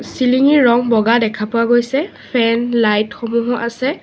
চিলিঙি ৰঙ বগা দেখা পোৱা গৈছে ফেন লাইট সমূহো আছে।